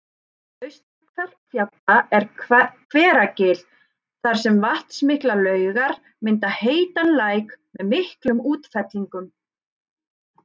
Austan Kverkfjalla er Hveragil þar sem vatnsmiklar laugar mynda heitan læk með miklum útfellingum